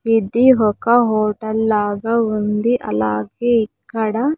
ఇది ఒక హోటల్ లాగా ఉంది అలాగే ఇక్కడ.